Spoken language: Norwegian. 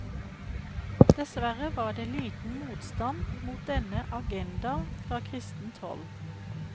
Dessverre var det liten motstand mot denne agenda fra kristent hold.